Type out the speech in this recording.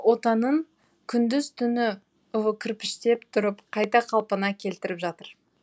отанын күндіз түні кірпіштеп тұрып қайта қалпына келтіріп жатыр